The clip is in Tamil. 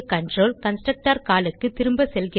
கன்ஸ்ட்ரக்டர் கால் க்கு திரும்ப செல்கிறது